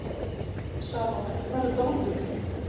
Salome, hvar er dótið mitt?